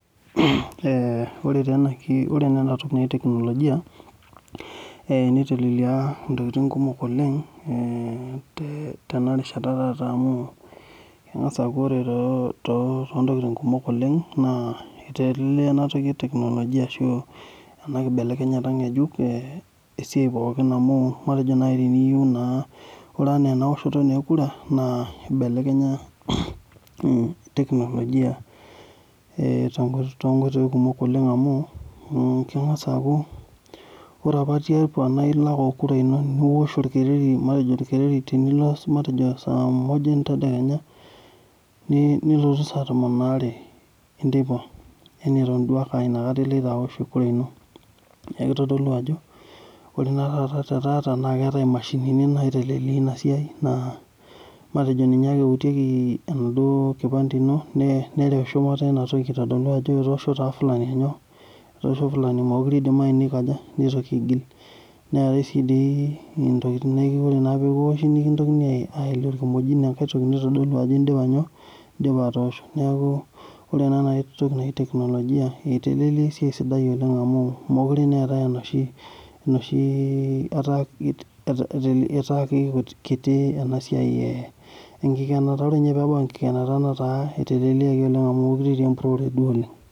Ore naa ena teknolojia nitelelia ntokiting kumok oleng tenarishata taata amu engas aaku ore toontokiting kumok oleng, eitelelia ena teknolojia ashu ena kibelekenyat ngejuko esiai pookin amu ore enaa enaoshoto ekura eibelekenya teknolojia toonkoitoi kumok amu ore apa naa ilo ake okura ino niwosh orkereri saa moja entedekenya nilotu saa tomon aare enteipa eton aa inakata duo ake oloito aosh kura ino neeku kitodolu ajo ore naa taata tetaa naa keetae mashini naiteleleia ina siai naa ninye ake eutieki enaduo kipante ino neretu shumata ina toki aitodolu ajo etoosho taa ngania kura mookure eidimayu nitoki aigil neetae sii ntokiting nekipinki enkimojion neeku kitodoli ajo indipa atoosho ,neeku ore naa ena toki naji teknolojia eitelelia naa esiai sidai amu mookure eeta enoshi ,eitaasi kiti ana siai enkikenata .